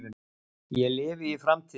Ég lifi í framtíðinni.